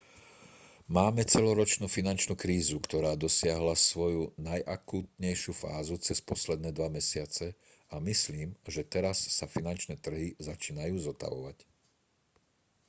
máme celoročnú finančnú krízu ktorá dosiahla svoju najakútnejšiu fázu cez posledné dva mesiace a myslím že teraz sa finančné trhy začínajú zotavovať